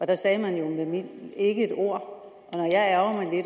der sagde man jo ikke et ord